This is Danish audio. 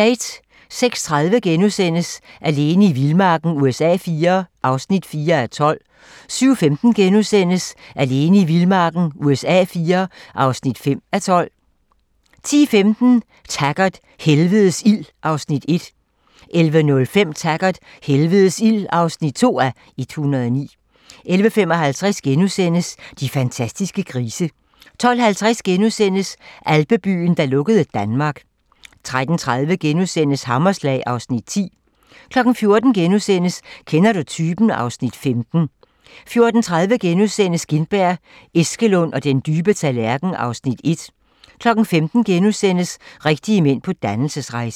06:30: Alene i vildmarken USA IV (4:12)* 07:15: Alene i vildmarken USA IV (5:12)* 10:15: Taggart: Helvedes ild (1:109) 11:05: Taggart: Helvedes ild (2:109) 11:55: De fantastiske grise * 12:50: Alpebyen, der lukkede Danmark * 13:30: Hammerslag (Afs. 10)* 14:00: Kender du typen? (Afs. 15)* 14:30: Gintberg, Eskelund og den dybe tallerken (Afs. 1)* 15:00: Rigtige mænd på dannelsesrejse (Afs. 5)*